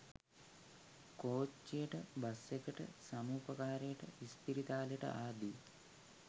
කෝච්චියට bus එකට සමුපකාරේට ඉස්පිරිතාලෙට ආදී